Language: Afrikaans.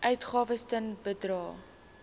uitgawes ten bedrae